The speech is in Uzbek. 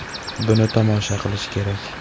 Buni tomosha qilish kerak!.